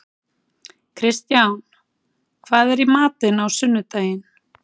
Kristján, hvað er í matinn á sunnudaginn?